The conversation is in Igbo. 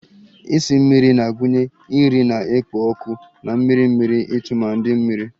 Esi mmiri na-agụnye nri na-ekpo ọkụ na mmiri mmiri tumadi mmiri